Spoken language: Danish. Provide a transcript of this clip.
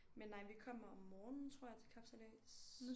Men nej vi kommer om morgenen tror jeg til kapsejlads